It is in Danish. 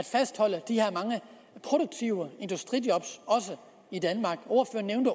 fastholde de mange produktive industrijob i danmark ordføreren